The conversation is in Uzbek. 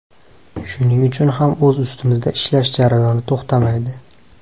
Shuning uchun ham o‘z ustimizda ishlash jarayoni to‘xtamaydi.